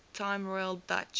time royal dutch